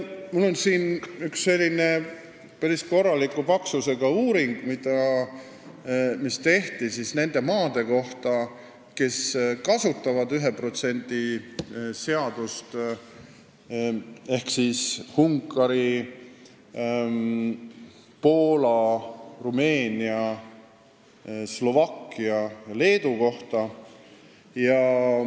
Mul on siin ka üks päris korraliku paksusega uuring, mis tehti nende maade kohta, kes kasutavad 1% seadust, ehk Ungari, Poola, Rumeenia, Slovakkia ja Leedu kohta.